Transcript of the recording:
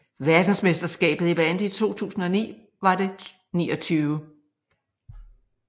Verdensmesterskabet i bandy 2009 var det 29